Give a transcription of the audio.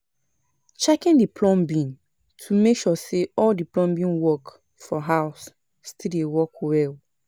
Checking the plumbing to make sure say all the plumbing work for house still dey work well